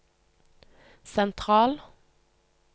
sentral